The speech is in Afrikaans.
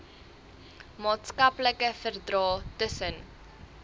maatskaplike verdrae tussen